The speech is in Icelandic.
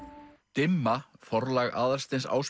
dimma forlag Aðalsteins